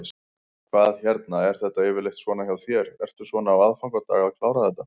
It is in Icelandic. Hvað hérna, er þetta yfirleitt svona hjá þér, ertu svona á aðfangadag að klára þetta?